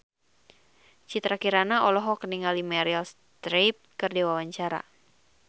Citra Kirana olohok ningali Meryl Streep keur diwawancara